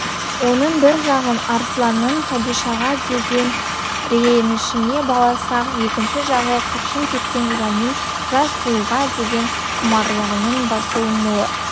оның бір жағын арсланның хадишаға деген ренішіне баласақ екінші жағы қыршын кеткен жанның жас сұлуға деген құмарлығының басылмауы